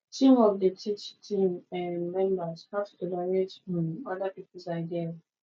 teamwork dey teach team um members how to tolerate um other peoples ideas